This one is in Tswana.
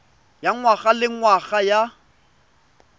ya ngwaga le ngwaga ya